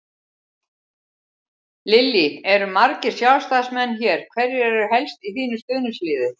Lillý: Eru margir Sjálfstæðismenn hér, hverjir eru helst í þínu stuðningsliði?